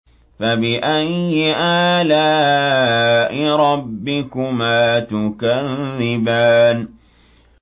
فَبِأَيِّ آلَاءِ رَبِّكُمَا تُكَذِّبَانِ